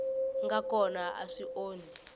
nga kona a swi onhi